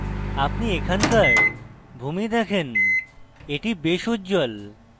আপনি এখানকার ভূমি দেখেন এটি বেশী উজ্জ্বল